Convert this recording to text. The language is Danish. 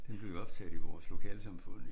Den blev jo optaget i vores lokalsamfund